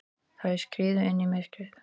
Þær skriðu inn í myrkrið.